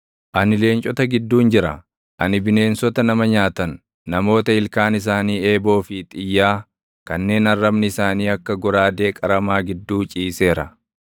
Ani leencota gidduun jira; ani bineensota nama nyaatan, namoota ilkaan isaanii eeboo fi xiyyaa kanneen arrabni isaanii akka goraadee qaramaa gidduu ciiseera.